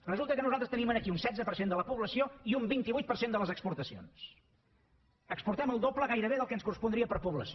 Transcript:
resulta que nosaltres tenim aquí un setze per cent de la població i un vint vuit per cent de les exportacions exportem el doble gairebé del que ens correspondria per població